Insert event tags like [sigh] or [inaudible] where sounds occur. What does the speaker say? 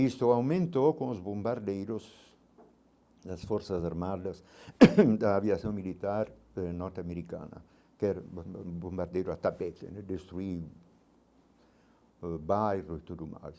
Isso aumentou com os bombardeiros, as forças armadas [coughs] da aviação militar eh norte-americana, que era [unintelligible] bombardeiro a tapeza né, destruir ãh bairro e tudo mais.